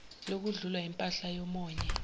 lokudlula kwimpahla yomonye